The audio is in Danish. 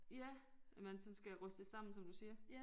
Ja at man sådan skal rystes sammen som du siger